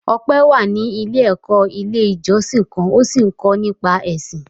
Ọpẹ́ wà ní ilé-ẹ̀kọ́ Ilé-ìjọsìn kan ó sì ń kọ́ nípa Ẹ̀sìn.